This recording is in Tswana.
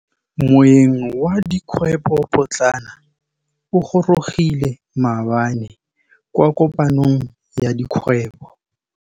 Moêng wa dikgwêbô pôtlana o gorogile maabane kwa kopanong ya dikgwêbô.